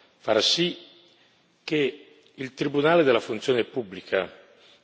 Ora sarà molto importante far sì che il Tribunale della funzione pubblica,